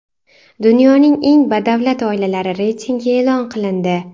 Dunyoning eng badavlat oilalari reytingi e’lon qilindi.